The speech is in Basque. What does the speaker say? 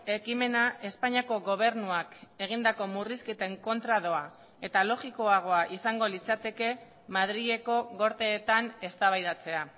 ekimena espainiako gobernuak egindako murrizketen kontra doa eta logikoagoa izango litzateke madrileko gorteetan eztabaidatzea